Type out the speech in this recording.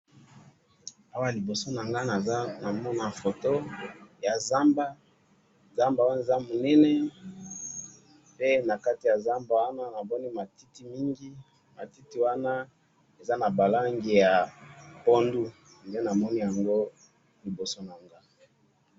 Awa liboso na nga na moni photo ya zamba, zamba wana eza Mylène, pe na kati ya zamba wana na moni matiti mingi, matiti wana eza na ba langi ya fondu, nde na moni liboso na nga wana.